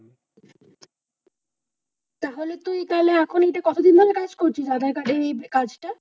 তাহলে তুই তাইলে এখন এ কথা দাদার কার্ড এ এই কাজ টা?